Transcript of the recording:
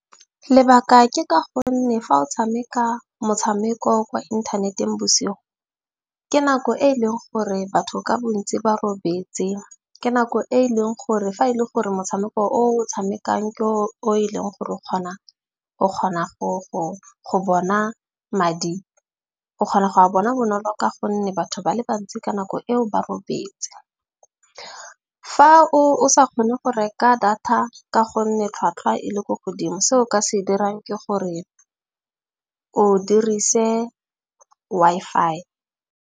Lebaka ke ka gonne fa o tshameka motshameko kwa inthaneteng bosigo, ke nako e e leng gore batho ka bontsi ba robetse. Ke nako e e leng gore fa e le gore motshameko o tshamekang ke o e leng gore o kgonang, o kgona go bona madi. O kgona go a bona bonolo ka gonne batho ba le bantsi ka nako eo ba robetse. Fa o sa kgone go reka data ka gonne tlhwatlhwa e le ko godimo se o ka se dirang ke gore o dirise Wi-Fi.